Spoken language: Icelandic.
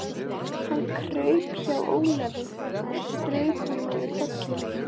Hann kraup hjá Ólafi og strauk honum yfir kollinn.